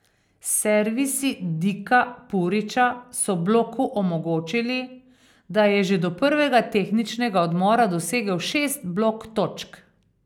Servisi Dika Puriča so bloku omogočili, da je že do prvega tehničnega odmora dosegel šest blok točk.